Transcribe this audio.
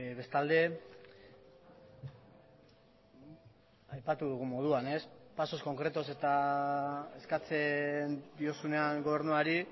bestalde aipatu dugun moduan ez pasos concretos eskatzen diozunean gobernuari